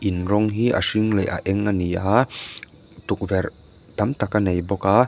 in rawng hi a hring leh a eng a ni a tukverh tam tak a nei bawk a.